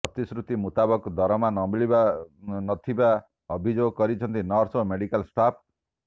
ପ୍ରତିଶ୍ରୁତି ମୁତାବକ ଦରମା ମିଳୁନଥିବା ଅଭିଯୋଗ କରିଛନ୍ତି ନର୍ସ ଓ ମେଡିକାଲ୍ ଷ୍ଟାପ୍